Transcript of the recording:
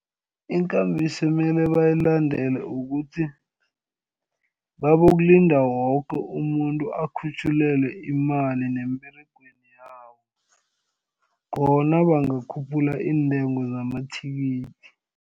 Inkambiso emele bayilandele ukuthi babokulinda woke umuntu akhutjhulelwe imali nemberegweni yabo. Khona bangakhuphula iintengo zamathikithi.